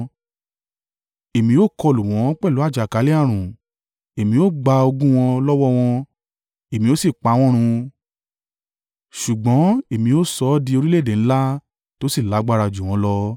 Èmi ó kọlù wọ́n pẹ̀lú àjàkálẹ̀-ààrùn, èmi ó gba ogún wọn lọ́wọ́ wọn, èmi ó sì pa wọ́n run ṣùgbọ́n èmi ó sọ ọ́ di orílẹ̀-èdè ńlá tó sì lágbára jù wọ́n lọ.”